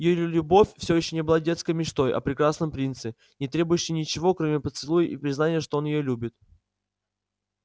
её любовь всё ещё была детской мечтой о прекрасном принце не требующей ничего кроме поцелуя и признания что и он её любит